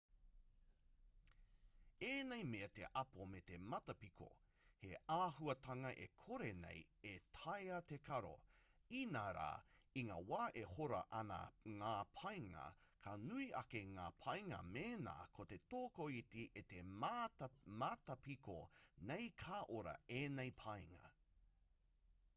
ēnei mea te apo me te matapiko he āhuatanga e kore nei e taea te karo inā rā i ngā wā e hora ana ngā painga ka nui ake ngā painga mēnā ko te tokoiti e matapiko nei ka ora i ēnei painga